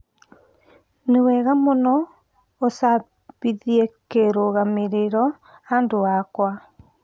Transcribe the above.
Nĩ wega mũno úcabithie kĩrũgamĩrĩro handũ hakwa